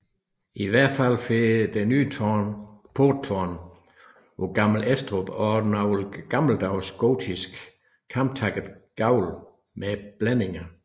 I al fald får det nye porttårn på Gammel Estrup også den noget gammeldags gotiske kamtakkede gavl med blændinger